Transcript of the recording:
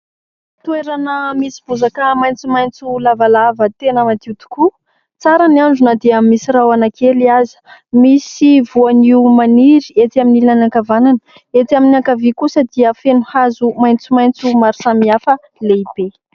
Toerana misy bozaka maitsomaitso lavalava tena madio tokoa, tsara ny andro dia misy rahona kely aza ; misy voanio maniry etsy amin'ny ilany ankavanana, etsy amin'ny ankavia kosa dia feno hazo maitsomaitso maro samihafa lehibe.